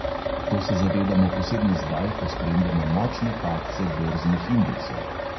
To se zavedamo posebno zdaj, ko spremljamo močne padce borznih indeksov.